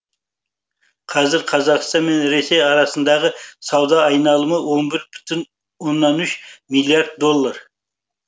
қазір қазақстан мен ресей арасындағы сауда айналымы он бір бүтін оннан үш миллиард доллар